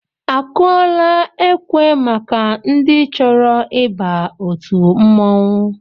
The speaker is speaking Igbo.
Akụọla ekwe maka ndị chọrọ ịba òtù mmọnwụ?